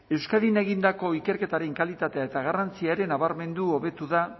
euskadin egindako ikerketaren kalitatea eta garrantzia ere nabarmendu hobetu da